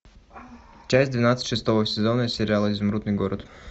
часть двенадцать шестого сезона сериала изумрудный город